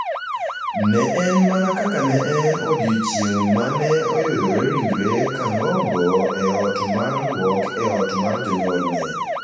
ne en mana kaka ne en e odiechieng’ ma ne oyudoree ringre Kangogo e ot mar lwok e ot mar jonyuolne.